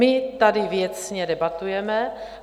My tady věcně debatujeme.